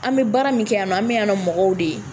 An bɛ baara min kɛ yan nɔ an bɛ yan nɔ mɔgɔw de ye